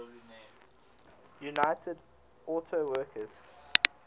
united auto workers